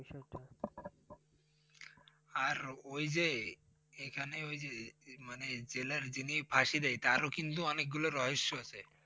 আর ওই যে এখানে ওই যে জেলের যিনি ফাঁসি দেয় তারও কিন্তু অনেকগুলো রহস্য আছে।